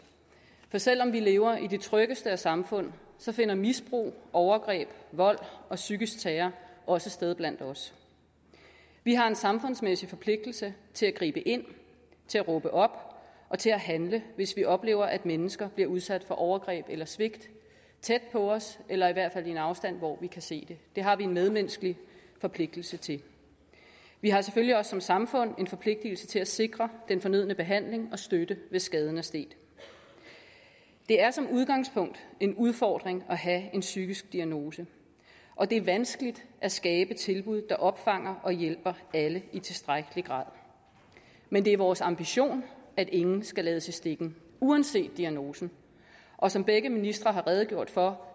for selv om vi lever i et af de tryggeste samfund finder misbrug overgreb vold og psykisk terror også sted blandt os vi har en samfundsmæssig forpligtelse til at gribe ind til at råbe op og til at handle hvis vi oplever at mennesker bliver udsat for overgreb eller svigt tæt på os eller i hvert fald i en afstand hvor vi kan se det det har vi en medmenneskelig forpligtelse til vi har selvfølgelig også som samfund en forpligtelse til at sikre den fornødne behandling og støtte hvis skaden er sket det er som udgangspunkt en udfordring at have en psykisk diagnose og det er vanskeligt at skabe tilbud der opfanger og hjælper alle i tilstrækkelig grad men det er vores ambition at ingen skal lades i stikken uanset diagnosen og som begge ministre har redegjort for